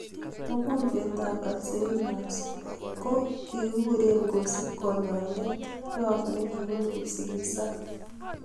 Mogonjwet ap Alzheimers ko kikikuree kosup kanyaindet rop nekipunu kipsigak